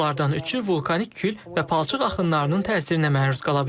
Onlardan üçü vulkanik kül və palçıq axınlarının təsirinə məruz qala bilər.